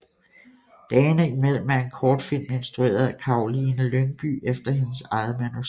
Dagene imellem er en kortfilm instrueret af Karoline Lyngbye efter hendes eget manuskript